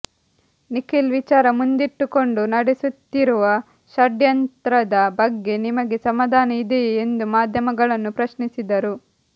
ನಿಖಿಲ್ ವಿಚಾರ ಮುಂದಿಟ್ಟುಕೊಂಡು ನಡೆಸುತ್ತಿರುವ ಷಡ್ಯಂತ್ರದ ಬಗ್ಗೆ ನಿಮಗೆ ಸಮಾಧಾನ ಇದೆಯೇ ಎಂದು ಮಾಧ್ಯಮಗಳನ್ನು ಪ್ರಶ್ನಿಸಿದರು